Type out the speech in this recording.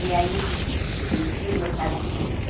E aí, en enchia o mercado de flores.